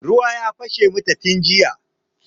Ruwa ya fashe mata tun jiya.